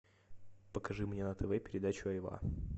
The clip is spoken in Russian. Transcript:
покажи мне на тв передачу айва